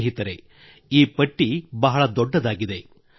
ಸ್ನೇಹಿತರೆ ಈ ಪಟ್ಟಿ ಬಹಳ ದೊಡ್ಡದಾಗಿದೆ